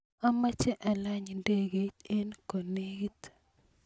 amache alany ndekeit eng konelit